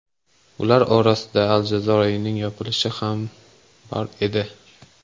Ular orasida Al Jazeera’ning yopilishi ham bor edi.